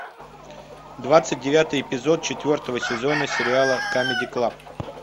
двадцать девятый эпизод четвертого сезона сериала камеди клаб